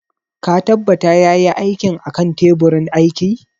Ka tabbata ya yi aikin a kan teburin aiki?